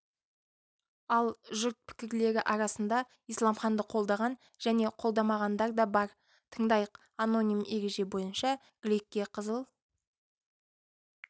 ал жұрт пікірлері арасында исламханды қолдаған және қолдамағандар да бар тыңдайық аноним ереже бойынша гликке қызыл